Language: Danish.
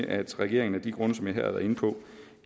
at regeringen af de grunde som jeg her har været inde på